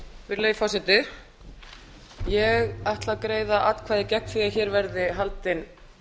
virðulegi forseti ég ætla að greiða atkvæði gegn því að hér verði haldinn